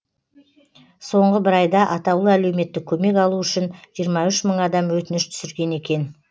соңғы бір айда атаулы әлеуметтік көмек алу үшін жиырма үш мың адам өтініш түсірген екен